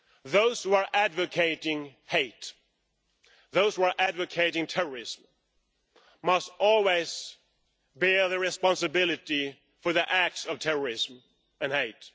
Those who are advocating hate, those who are advocating terrorism, must always bear the responsibility for the acts of terrorism and hate.